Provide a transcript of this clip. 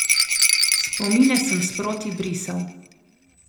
Spomine sem sproti brisal.